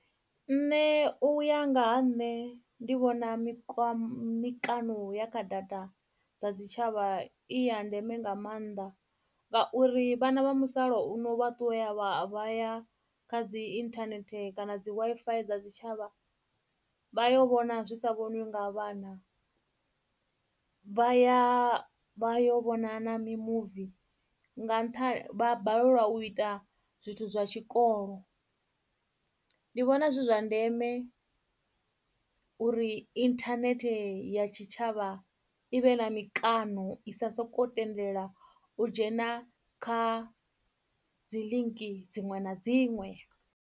Nṋe u ya nga ha nṋe ndi vhona mikano ya kha data dza tshitshavha i ya ndeme nga maanḓa ngauri vhana vha musala uno vha ṱuwa vhaya kha dzi internet kana dzi Wi-Fi dza tshitshavha vha yo vhona zwi sa vhoniwi nga vhana vha ya vha yo vhona na mimuvi vha balelwa u ita zwithu zwa tshikolo ndi vhona zwi zwa ndeme uri inthanethe ya tshitshavha i vhe na mikano i sa soko tendela u dzhena kha dzi link dziṅwe na dziṅwe.